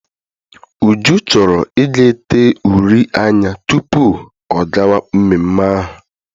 Uju chọrọ I ga tee uri anya tupu ọ gawa mmemme ahụ.